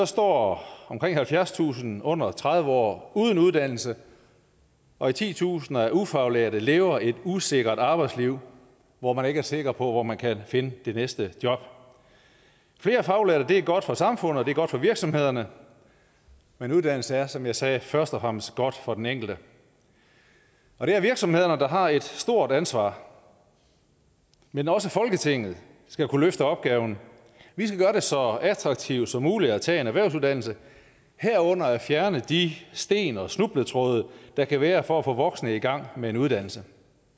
står omkring halvfjerdstusind under tredive år uden uddannelse og titusinder af ufaglærte lever et usikkert arbejdsliv hvor man ikke er sikker på hvor man kan finde det næste job flere faglærte er godt for samfundet og det er godt for virksomhederne men uddannelse er som jeg sagde først og fremmest godt for den enkelte og det er virksomhederne der har et stort ansvar men også folketinget skal kunne løfte opgaven vi skal gøre det så attraktivt som muligt at tage en erhvervsuddannelse herunder fjerne de sten og snubletråde der kan være for at få voksne i gang med en uddannelse